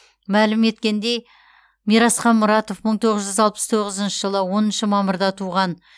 мәлім еткендей мирасхан мұратов мың тоғыз жүз алпыс тоғызыншы жылы оныншы мамырда туған